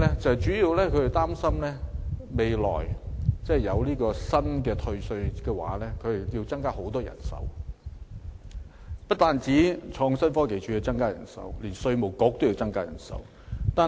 主要的憂慮是日後接獲新的退稅申請時，政府需要增聘很多人手，不但創新科技署要增聘人手，稅務局亦有此需要。